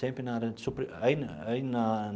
Sempre na área de supri aí na aí na.